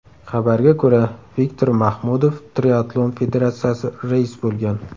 Xabarga ko‘ra, Viktor Mahmudov Triatlon federatsiyasi rais bo‘lgan.